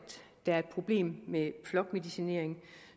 der er et problem med flokmedicinering